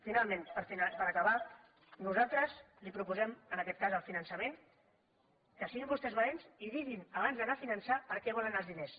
finalment per acabar nosaltres li proposem en aquest cas del finançament que siguin vostès valents i diguin abans d’anar a finançar per a què volen els diners